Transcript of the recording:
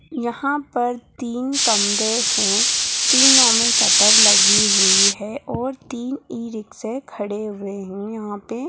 यहाँ पर तीन कमरे हैं। तीनों में शटर लगी हुई हैं और तीन ई-रिक्शे खड़े हुए हैं यहाँ पे।